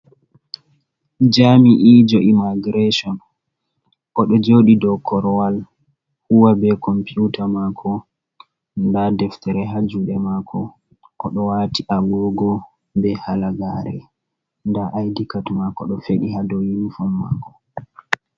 Jami’e jo imagiraishon ɗo joɗi do korwal. Huwa be computa mako. Nɗa deftere ha juɗe mako. Oɗo wati agogo be halagare. Nda aidikat mako ɗo fedi ha ɗow yinifon mako.